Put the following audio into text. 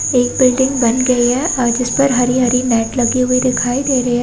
एक बिल्डिंग बन गयी है और जिसपर हरी-हरी नेट लगी दिखाई दे रही है।